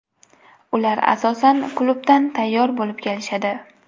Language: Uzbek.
Ular asosan klubdan tayyor bo‘lib kelishadi.